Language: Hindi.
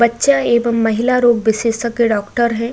बच्चा एवं महिला रोग विशेषज्ञ डॉक्टर हैं।